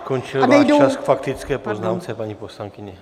Skončil váš čas k faktické poznámce, paní poslankyně.